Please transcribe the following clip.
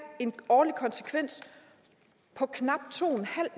en årlig konsekvens på knap to